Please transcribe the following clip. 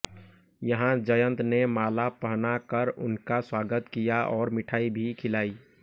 यहां जयंत ने माला पहनाकर उनका स्वागत किया और मिठाई भी खिलाई